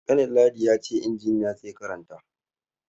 Kanin ladi ya ce shi injiniya zai karanta.